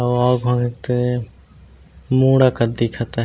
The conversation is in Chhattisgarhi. दिखत हवे।